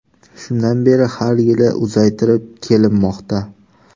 Shundan beri har yili uzaytirib kelinmoqda.